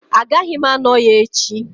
Agaghị m anọ ya echi